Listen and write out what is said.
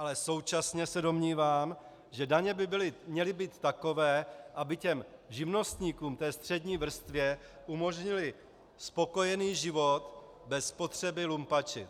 Ale současně se domnívám, že daně by měly být takové, aby těm živnostníkům, té střední vrstvě, umožnily spokojený život bez potřeby lumpačit.